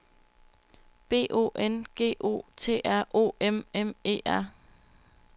B O N G O T R O M M E R